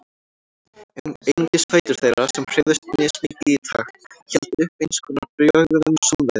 Einungis fætur þeirra, sem hreyfðust mismikið í takt, héldu uppi eins konar bjöguðum samræðum.